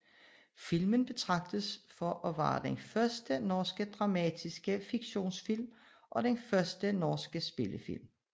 Filmen betragtes for at være den første norske dramatiske fiktionsfilm og den første norske spillefilm